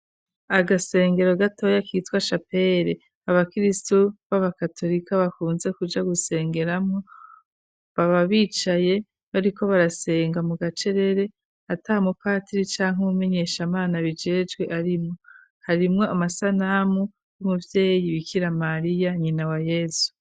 Agasengero gatoya kitwa shapere abakirisu babakatorika bakunze kuja gusengeramwo baba bicaye bariko barasenga mu gacerere ata mupatiri canke umenyeshamana abijejwe arimwo harimwo amasanamu y'umuvyeyi bikiramariya nyina wa yezu.